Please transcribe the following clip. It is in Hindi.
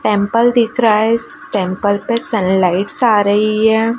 टेंपल दिख रहा है इस टेंपल पे सनलाइट्स आ रही है।